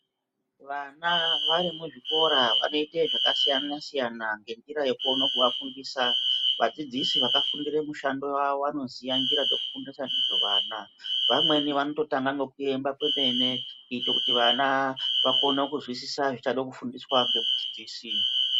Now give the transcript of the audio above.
Vana vari muzvikora vanoite zvakasiyana siyana ngenjira yekuone kuvafundisa vadzidzisi vakafundira mushando wawo vanoziya nzira dzekufundisa ndidzo vana vamweni vanototanga ngekuemba kwemene kuite kuti vana vakone kuzwisisa zvichade kufundiswa ngemudzidzisi.